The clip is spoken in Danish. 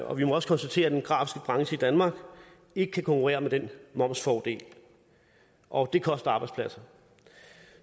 og vi må også konstatere at den grafiske branche i danmark ikke kan konkurrere med den momsfordel og det koster arbejdspladser